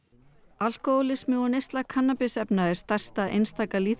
alkóhólismi og neysla kannabisefna er stærsta einstaka